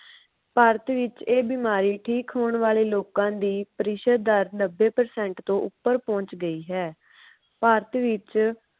ਭਾਰਤ ਵਿਚ ਇਹ ਬਿਮਾਰੀ ਠੀਕ ਹੋਣ ਵਾਲੇ ਲੋਕਾਂ ਦੀ ਪਰਿਸ਼ਦ ਦਰ ਨੱਬੇ percent ਤੋਂ ਉਪਰ ਪਹੁੰਚ ਗਈ ਹੈ। ਭਾਰਤ ਵਿਚ